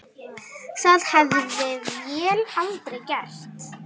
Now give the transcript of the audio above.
Það hefði vél aldrei gert.